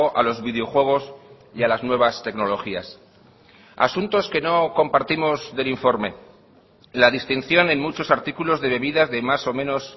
a los videojuegos y a las nuevas tecnologías asuntos que no compartimos del informe la distinción en muchos artículos de bebidas de más o menos